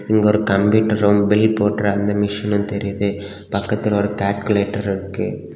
அங்க ஒரு கம்ப்யூட்டரும் பில் போடுற அந்த மிஷினும் தெரிது பக்கத்துல ஒரு கால்குலேட்டர் இருக்கு.